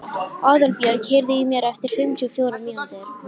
Aðalbjörg, heyrðu í mér eftir fimmtíu og fjórar mínútur.